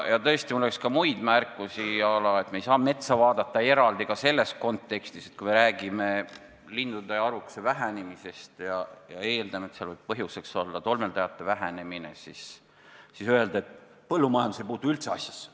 Tõesti, mul oleks ka muid märkusi, à la et me ei saa metsa vaadata eraldi ka selles kontekstis, et kui me räägime lindude arvukuse vähenemisest ja eeldame, et põhjus võiks olla tolmeldajate vähenemine, siis on kummaline öelda, et põllumajandus ei puutu üldse asjasse.